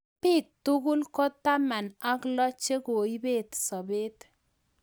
Biik tugul ko taman ak loo che koibet sabet.